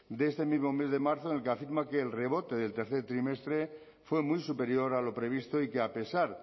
de este mismo mes de marzo en el que afirma que el rebote del tercer trimestre fue muy superior a lo previsto y que a pesar